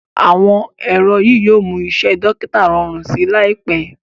awọn ẹrọ yíò mú Iṣé dókítà rọrùn sí láìpé.